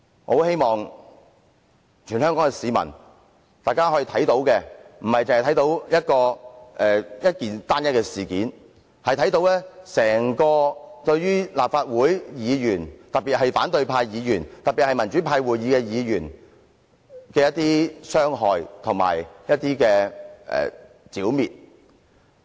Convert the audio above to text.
我希望全港市民不會只視這為單一事件，而是會看到這對於立法會議員，特別是反對派議員和民主派會議的議員來說，是一種傷害和剿滅。